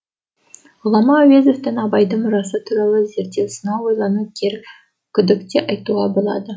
ғұлама әуезовтің абайдың мұрасы туралы зерттеу сынау ойлану керек күдік те айтуға болады